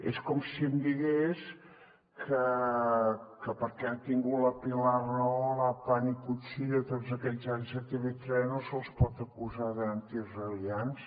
és com si em digués que perquè han tingut la pilar rahola a pan y cuchillo tots aquests anys a tv3 no se’ls pot acusar d’antiisraelians